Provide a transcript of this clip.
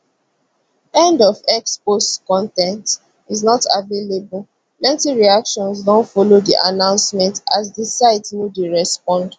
end of x post con ten t is not available plenty reactions don follow di announcement as di site no dey respond